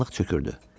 Qaranlıq çökürdü.